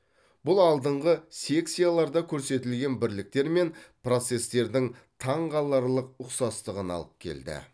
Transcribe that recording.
бұл алдыңғы секцияларда көрсетілген бірліктер мен процесстердің таңқаларлық ұқсастығына алып келді